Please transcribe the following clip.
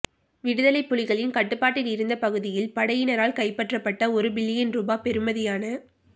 விடுதலைப் புலிகளின் கட்டுப்பாட்டிலிருந்த பகுதியில் படையினரால் கைப்பற்றப்பட்ட ஒரு பில்லியன் ரூபா பெறுமதியான